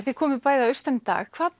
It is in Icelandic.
þið komuð bæði að austan í dag hvað